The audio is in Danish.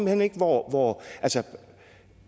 hen ikke hvor